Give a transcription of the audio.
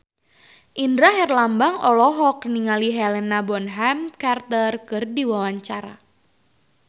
Indra Herlambang olohok ningali Helena Bonham Carter keur diwawancara